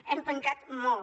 hem pencat molt